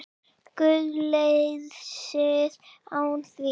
GUÐLEYSIÐ ÁN ÞÍN